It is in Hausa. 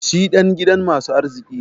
Shi dan gidan masu arziki ne.